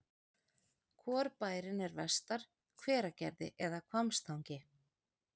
Hvor bærinn er vestar, Hveragerði eða Hvammstangi?